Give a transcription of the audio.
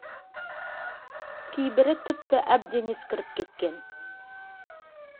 кейбірі тіпті әбден ескіріп кеткен